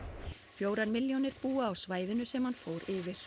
fjórar milljónir búa á svæðinu sem hann fór yfir